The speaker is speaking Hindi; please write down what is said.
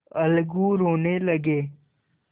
अलगू रोने लगे